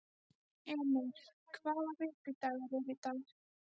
Emir, hvaða vikudagur er í dag?